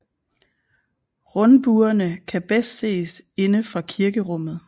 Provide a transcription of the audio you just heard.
Rundbuerne kan bedst ses inde fra kirkerummet